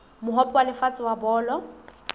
mohope wa lefatshe wa bolo